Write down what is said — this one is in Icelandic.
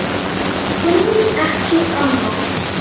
Kunnum ekki annað.